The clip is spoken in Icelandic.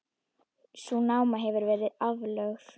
Sú náma hefur verið aflögð.